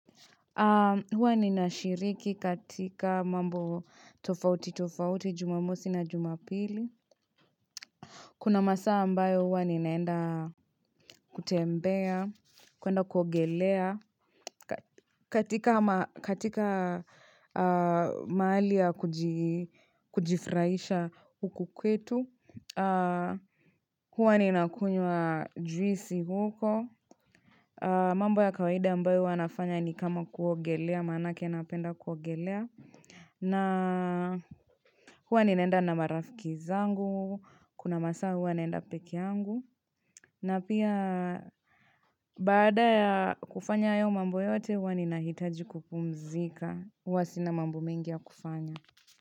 Huwa nina shiriki katika mambo tofauti tofauti, jumamosi na jumapili. Kuna masaa ambayo huwa ninaenda kutembea, kuenda kuogelea katika mahali ya kujifraisha huku kwetu. Huwa nina kunywa juisi huko. Mambo ya kawaida ambayo huwa nafanya ni kama kuogelea manake napenda kuogelea. Na huwa ninaenda na marafiki zangu, kuna masaa huwa naenda peke yangu, na pia baada ya kufanya hayo mambo yote huwa nina hitaji kupumzika, huwa sinamambo mengi ya kufanya.